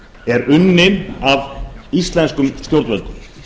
er unnin af íslenskum stjórnvöldum